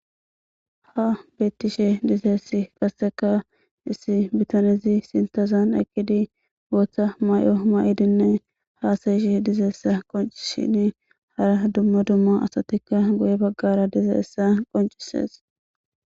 Ha bettishe dizeess qasseka issi bitanizi sintazan ekkidi booththa may7o ma7idinne haasayishe dizeessa qonci shini hara dumma dumma asatikka goye baggara dizeessa qoncisees.